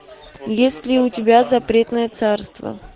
есть ли у тебя запретное царство